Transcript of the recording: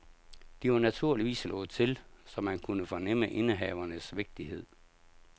De var naturligvis slået til, så man kunne fornemme indehavernes vigtighed.